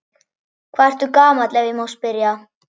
Hvað ertu gamall ef ég má spyrja?